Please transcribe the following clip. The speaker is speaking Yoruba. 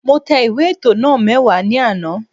Mo tẹ ìwé ètò náà mẹ́wàá ní àná